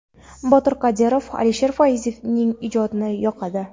Botir Qodirov, Alisher Fayzning ijodi yoqadi.